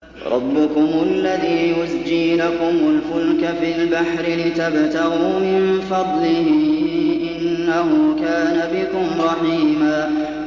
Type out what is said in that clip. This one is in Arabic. رَّبُّكُمُ الَّذِي يُزْجِي لَكُمُ الْفُلْكَ فِي الْبَحْرِ لِتَبْتَغُوا مِن فَضْلِهِ ۚ إِنَّهُ كَانَ بِكُمْ رَحِيمًا